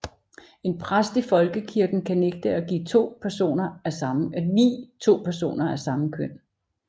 En præst i folkekirken kan nægte at vie to personer af samme køn